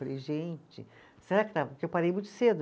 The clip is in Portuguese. Falei, gente, será que está, que eu parei muito cedo?